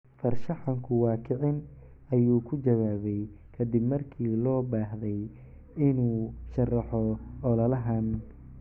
"Farshaxanku waa kicin," ayuu ku jawaabay kadib markii loo baahday inuu sharaxo ololahan.